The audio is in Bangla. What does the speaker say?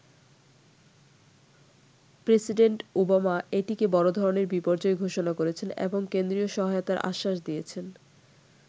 প্রেসিডেন্ট ওবামা এটিকে বড়ধরনের বিপর্যয় ঘোষণা করেছেন এবং কেন্দ্রীয় সহায়তার আশ্বাস দিয়েছেন।